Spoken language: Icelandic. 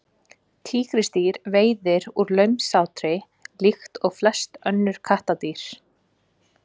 tígrisdýr veiða úr launsátri líkt og flest önnur kattardýr